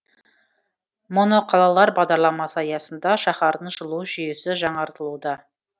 моноқалалар бағдарламасы аясында шаһардың жылу жүйесі жаңартылуда